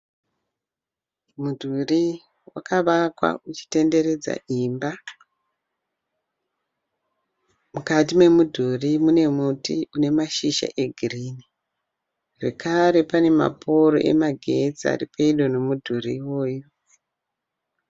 Mudhuri wakavakwa uchitenderedza imba. Mukati memudhuri mune muti une mashizha egirinhi zvekare pane maporo emagetsi aripedo nemudhuri iwoyu